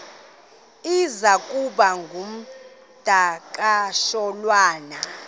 iza kuba ngumdakasholwana